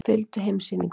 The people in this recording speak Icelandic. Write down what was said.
Fylgdu heimssýningunni.